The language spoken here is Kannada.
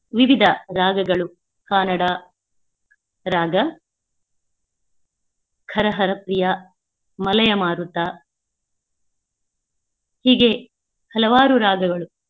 ವಿವಿಧ ರಾಗಗಳು ಕನ್ನಡ ರಾಗ ಹರಹರಪ್ರಿಯ, ಮಲಯ ಮಾರುತ ಹೀಗೆ ಹಲವಾರು ರಾಗಗಳು.